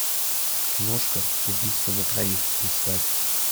киношка убийство на троих искать